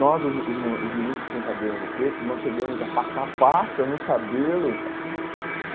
Nós, os os mu os meninos que tinham cabelo crespo, nós chegamos a passar pasta no cabelo cara.